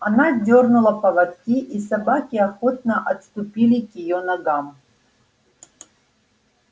она дёрнула поводки и собаки охотно отступили к её ногам